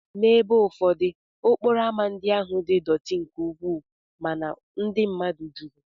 N'ebe ụfọdụ, okporo ámá ndị ahụ dị dọtí nke ukwuu mana ndị mmadụ juru.